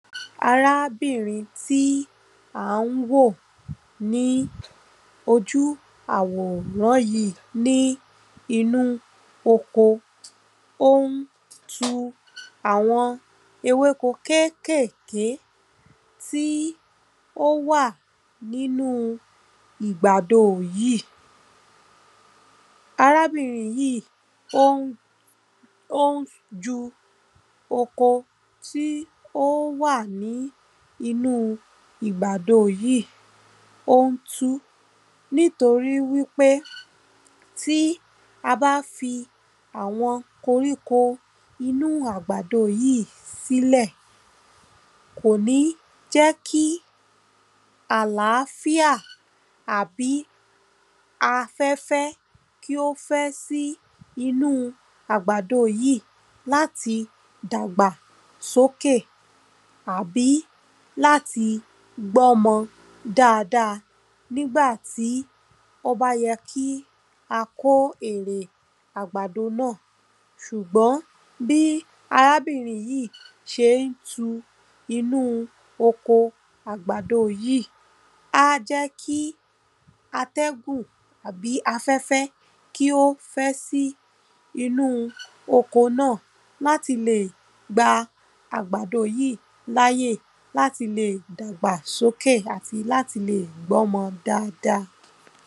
arábìnrin tí ǎ n wò ní ojú àwòrán yìí, ní inú oko ó n tú àwọn ewéko kékèké tí ó wà nínu ìgbàdo yìí, arábìnrin yìí ó n, ó n tu oko tí ó wà nínu ìgbàdo yìí, ó n tu, nítorí wípé tí a bá fi àwọn koríko inú àgbàdo yìí sílè, kò ní jẹ́ kí àlàáfíà àbí afẹ́fẹ́ kí ó fẹ́ sí inú àgbàdo yìí, láti dàgbà sókè àbí láti gbọ́mọ dada nígbàtí ó bá yẹ kí a kó èrè àgbàdo náà, sùgbọ́n bí arábìnrin yìí sé n tu inú oko àgbàdo yìí, á jẹ́ kí atẹ́gùn àbí afẹ̀fẹ̀ kí ó fẹ́ sí inú oko náà, láti le lè gba àbàdò yìí láyè, láti lè dàgbà sókè, àti láti lè gbọ́mọ dada.